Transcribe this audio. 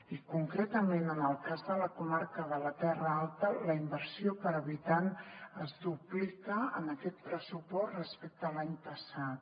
i concretament en el cas de la comarca de la terra alta la inversió per habitant es duplica en aquest pressupost respecte a l’any passat